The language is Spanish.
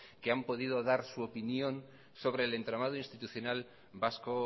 que han podido dar su opinión sobre el entramado institucional vasco